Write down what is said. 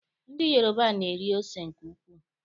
Ndị Yoroba na-eri ose nke ukwuu.